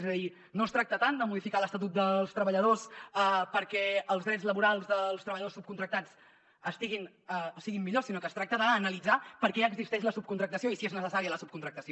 és a dir no es tracta tant de modificar l’estatut dels treballadors perquè els drets laborals dels treballadors sub·contractats siguin millors sinó que es tracta d’analitzar per què existeix la subcon·tractació i si és necessària la subcontractació